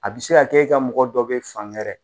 A bi se ka kɛ e ka mɔgɔ dɔ be fan gɛrɛ